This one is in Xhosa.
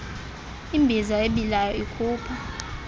imbiza ebilayo ikhupha